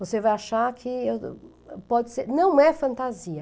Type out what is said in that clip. Você vai achar que pode ser... Não é fantasia.